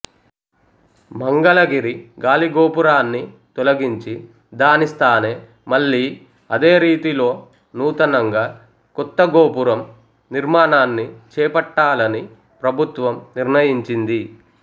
మంగళగిరి గాలిగోపురాన్ని తొలగించి దానిస్థానే మళ్లీ అదేరీతిలోనూతనంగా కొత్త గోపురం నిర్మాణాన్ని చేపట్టాలని ప్రభుత్వం నిర్ణయించింది